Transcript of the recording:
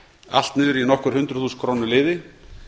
allt niður í nokkur hundruð þúsund króna liði